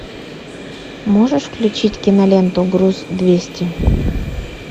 можешь включить киноленту груз двести